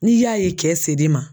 N'i y'a ye kɛ sed'i ma